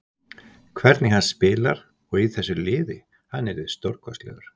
Hvernig hann spilar, og í þessu liði, hann yrði stórkostlegur.